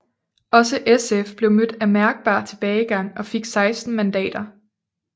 Også SF blev mødt af mærkbar tilbagegang og fik 16 mandater